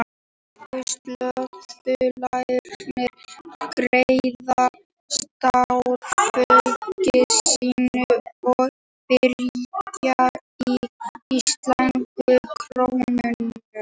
Íslensku söluaðilarnir greiða starfsfólki sínu og birgjum í íslenskum krónum.